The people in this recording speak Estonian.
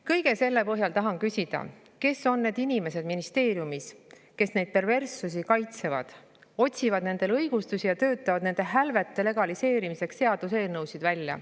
Kõige selle põhjal tahan küsida: kes on need inimesed ministeeriumis, kes neid perverssusi kaitsevad, otsivad nendele õigustusi ja töötavad välja seaduseelnõusid nende hälvete legaliseerimiseks?